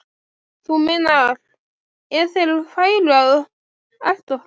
Þú meinar. ef þeir færu að elta okkur?